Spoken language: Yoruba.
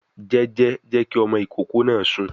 Jẹ́jẹ́, jẹ́ kí ọmọ ìkókó náà sùn